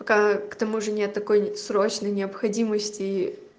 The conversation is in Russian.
пока к тому же не такой срочной необходимости